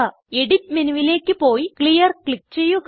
edit മെനുവിലേക്ക് പോയി clear click ചെയ്യുക